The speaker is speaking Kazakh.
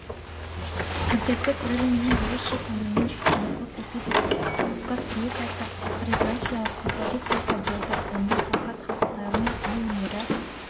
концертте көрерменнің ерекше көңілінен шыққан көпэпизодты кавказ сюитасы хореографиялық композициясы болды онда кавказ халықтарының би өнері